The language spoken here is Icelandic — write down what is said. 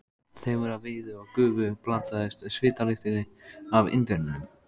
Þefur af viði og gufu blandaðist svitalyktinni af Indverjanum.